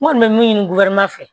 N kɔni bɛ min ɲini fɛ